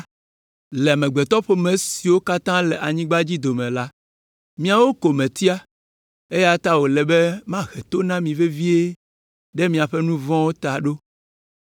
“Le amegbetɔƒome siwo katã le anyigba dzi dome la, miawo ko metia, eya ta wòle be mahe to na mi vevie ɖe miaƒe nu vɔ̃wo ta ɖo,